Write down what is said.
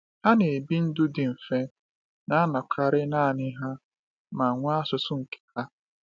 Ha na-ebi ndụ dị mfe, na-anọkarị naanị ha, ma nwee asụsụ nke ha.